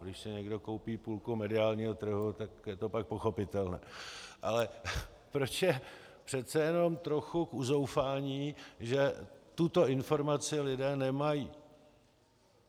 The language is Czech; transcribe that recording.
Když si někdo koupí půlku mediálního trhu, tak je to pak pochopitelné - ale proč je přece jenom trochu k uzoufání, že tuto informaci lidé nemají.